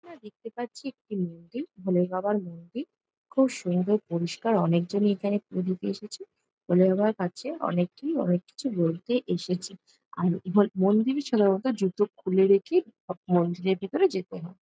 এখানে দেখতে পাচ্ছি একটি মন্দির ভোলেবাবার মন্দির খুব সুন্দর পরিষ্কার অনেক জনই এখানে পুজো দিতে এসেছে ভোলেবাবার কাছে অনেকেই অনেক কিছু বলতে এসেছে আর হল মন্দিরে সম্ভবত জুতো খুলে রেখে মন্দিরের ভেতরে যেতে হয়।